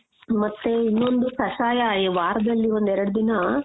ಮತ್ತೆ ಇನ್ನೊಂದು ಕಷಾಯ ಈ ವಾರದಲ್ಲಿ ಒಂದೆರಡು ದಿನ .